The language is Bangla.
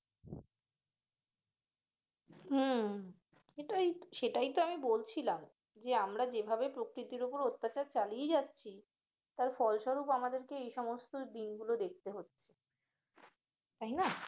উম কিন্তু এই সেটাই তো আমি বলছিলাম যে আমরা যেভাবে প্রকৃতির ওপর অত্যাচার চালিয়ে যাচ্ছি তার ফলস্বরূপ আমাদেরকে এই সমস্ত দিনগুলো দেখতে হচ্ছে তাই না?